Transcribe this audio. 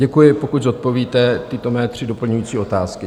Děkuji, pokud zodpovíte tyto mé tři doplňující otázky.